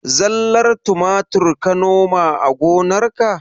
Zallar tumatir ka noma a gonarka?